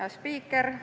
Hea spiiker!